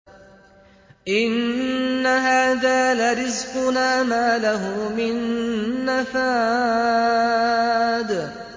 إِنَّ هَٰذَا لَرِزْقُنَا مَا لَهُ مِن نَّفَادٍ